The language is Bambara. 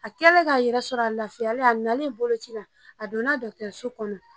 A kɛlen ka yɛrɛ sɔrɔ a lafiyalen a nalen bolo ci la a donna dɔkitɛriso kɔnɔ